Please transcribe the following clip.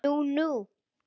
Nú nú.